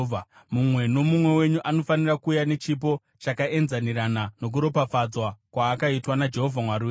Mumwe nomumwe wenyu anofanira kuuya nechipo chakaenzanirana nokuropafadzwa kwaakaitwa naJehovha Mwari wenyu.